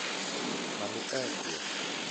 Mami ekuo?